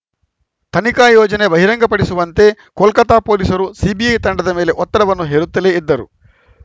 ತನಿಖಾ ಯೋಜನೆ ಬಹಿರಂಗ ಪಡಿಸುವಂತೆ ಕೋಲ್ಕತಾ ಪೊಲೀಸರು ಸಿಬಿಐ ತಂಡದ ಮೇಲೆ ಒತ್ತಡವನ್ನು ಹೇರುತ್ತಲೇ ಇದ್ದರು